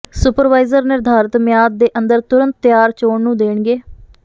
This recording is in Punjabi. ਸੁਪਰਵਾਈਜ਼ਰ ਿਨਰਧਾਰਤ ਮਿਆਦ ਦੇ ਅੰਦਰ ਤੁਰੰਤ ਤਿਆਰ ਚੋਣ ਨੂੰ ਦੇਣਗੇ